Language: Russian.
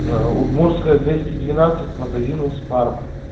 удмуртская двести двенадцать к магазину спар